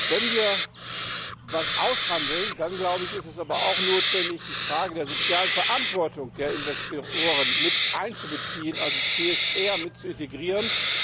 Wenn wir etwas aushandeln, dann ist es aber auch notwendig, die Frage der sozialen Verantwortung der Investoren mit einzubeziehen, also CSR mit zu integrieren.